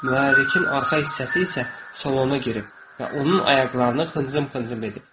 Mühərrikin arxa hissəsi isə salona girib və onun ayaqlarını xıncım-xıncım edib.